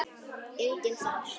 Enginn þar?